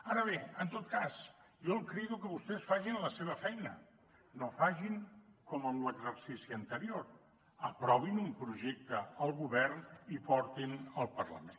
ara bé en tot cas jo el crido a que vostès facin la seva feina no facin com en l’exercici anterior aprovin un projecte el govern i portin lo al parlament